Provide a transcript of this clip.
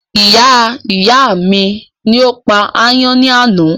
Iyá ìyá mi ni ó pa ayán ní àná